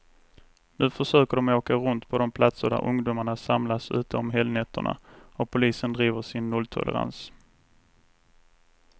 Nu försöker de åka runt på de platser där ungdomarna samlas ute om helgnätterna, och polisen driver sin nolltolerans.